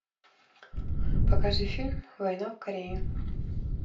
покажи фильм война в корее